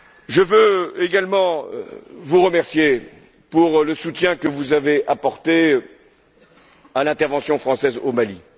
Je veux également vous remercier pour le soutien que vous avez apporté à l'intervention française au Mali.